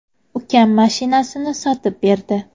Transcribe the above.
Ukam mashinasini sotib berdi.